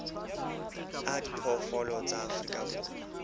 a diphoofolo tsa afrika borwa